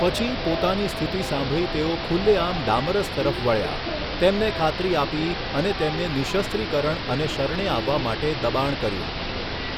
પછી, પોતાની સ્થિતિ સાંભળી તેઓ ખુલ્લેઆમ ડામરસ તરફ વળ્યા, તેમને ખાતરી આપી અને તેમને નિઃશસ્ત્રીકરણ અને શરણે આવવા માટે દબાણ કર્યું.